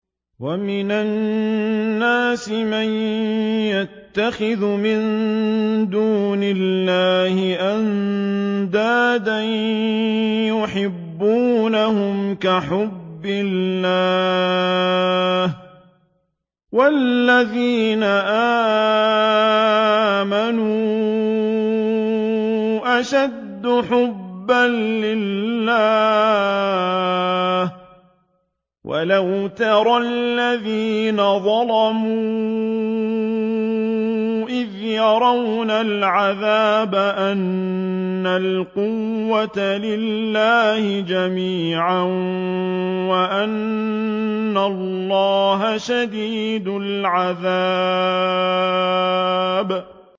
وَمِنَ النَّاسِ مَن يَتَّخِذُ مِن دُونِ اللَّهِ أَندَادًا يُحِبُّونَهُمْ كَحُبِّ اللَّهِ ۖ وَالَّذِينَ آمَنُوا أَشَدُّ حُبًّا لِّلَّهِ ۗ وَلَوْ يَرَى الَّذِينَ ظَلَمُوا إِذْ يَرَوْنَ الْعَذَابَ أَنَّ الْقُوَّةَ لِلَّهِ جَمِيعًا وَأَنَّ اللَّهَ شَدِيدُ الْعَذَابِ